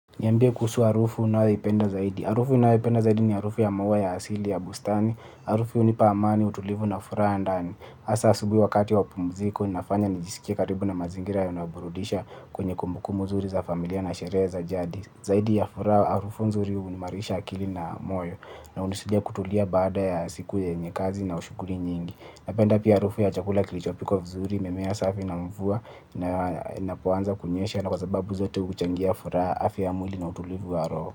Niambie kuhusu harufu unayoipenda zaidi harufu ninayoipenda zaidi ni harufu ya maua ya asili ya bustani. Harufu unipa amani utulivu na furaha ndani hasa asubuhi wakati wapumziko nafanya nijisikia karibu na mazingira yanayo burudisha kwenye kumbukumbu zuri za familia na sherehe za jadi. Zaidi ya furaha harufu nzuri huimarisha akili na moyo. Na hunisaidia kutulia baada ya siku yenye kazi na shughuli nyingi. Napenda pia harufu ya chakula kilichopikwa vizuri mimea safi na mvua na inapoanza kunyesha ni kwa sababu zote huchangia furaha afya ya mwili na utulivu horo.